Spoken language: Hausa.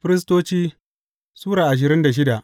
Firistoci Sura ashirin da shida